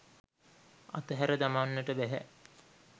අතහැර දමන්නට බැහැ.